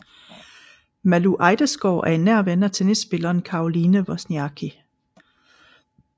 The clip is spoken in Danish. Malou Ejdesgaard er en nær ven af tennisspilleren Caroline Wozniacki